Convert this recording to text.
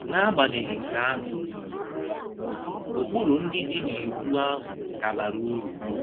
N’agbanyeghị nke ahụ, ụkpụrụ ndị dị n’Iwu ahụ ka bara uru